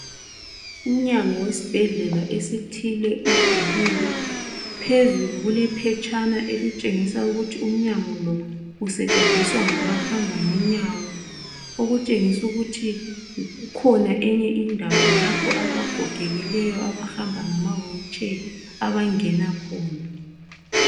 Umnyango wesbhedlela esithile uvuliwe phezulu kule phetshana elitshengisa ukuthi umnyango lo use tshenziswa ngabahamba ngenyawo okutshengisu kuthi kukhona enye indawo lapho abagogekileyo abahamba ngama wheel chair abangena khona .